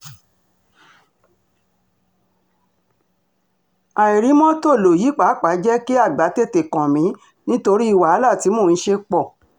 àìrí mọ́tò lọ yìí pàápàá jẹ́ kí àgbà tètè kàn mí nítorí wàhálà tí mò ń ṣe pọ̀